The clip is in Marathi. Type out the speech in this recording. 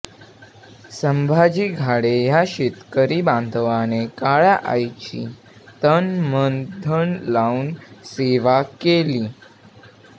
संभाजी घाडे या शेतकरी बांधवाने काळय़ा आईची तन मन धन लाऊन सेवा केली